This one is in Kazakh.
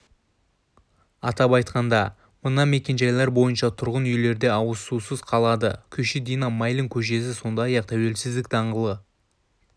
атап айтқанда мына мекенжайлар бойынша тұрғын үйлерде ауызсусыз қалады күйші дина майлин көшесі сондай-ақ тәуелсіздік даңғылы